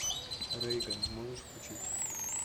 рейган можешь включить